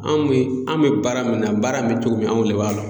Anw bɛ, an bɛ baara min na, baara min bɛ cogo min anw de b'a la.